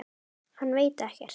Hann veit ekkert.